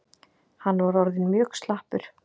Hann var orðinn mjög slappur.